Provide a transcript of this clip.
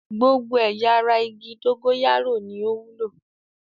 Gbogbo ẹ̀ya ara igi dógóyárò ni ó wúlò.